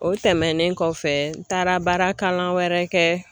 O tɛmɛnen kɔfɛ n taara baara kalan wɛrɛ kɛ.